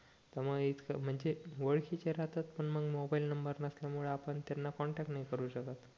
त मग इतकं म्हणजे ओळखीचे राहतात पण मग मोबाईल नंबर नसल्या मुळे आपण त्यांना कॉन्टॅक्ट नाही करू शकत